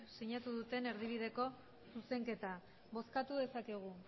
sinatu duten erdibideko zuzenketa bozkatu dezakegu